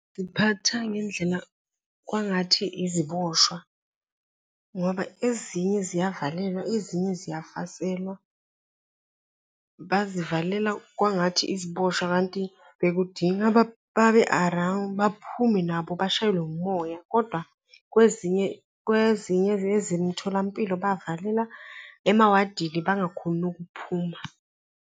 Ziphathwa ngendlela kwangathi iziboshwa ngoba ezinye ziyavalelwa, ezinye ziyafaselwa, bazivalela kwangathi iziboshwa kanti bekudinga babe-around, baphume nabo bashayelwe umoya. Kodwa kwezinye, kwezinye ezemtholampilo bavalelwa emawadini bangakhoni ukuphuma.